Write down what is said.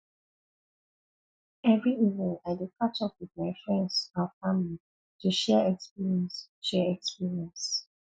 every evening i dey catch up with my friends and family to share experiences share experiences